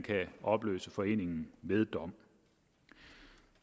kan opløse foreningen ved dom